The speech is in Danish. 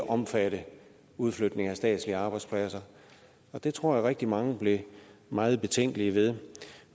omfatte udflytning af statslige arbejdspladser og det tror jeg at rigtig mange blev meget betænkelige ved